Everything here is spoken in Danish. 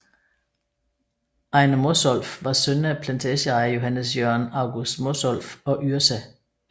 Ejner Mosolff var søn af plantageejer Johannes Jørgen August Mosolff og Yrsa f